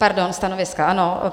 Pardon, stanoviska, ano.